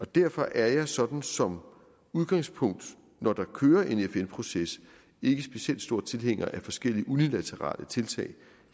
derfor er jeg sådan som udgangspunkt når der kører en fn proces ikke specielt stor tilhænger af forskellige unilaterale tiltag